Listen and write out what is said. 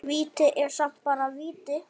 Víti er samt bara víti.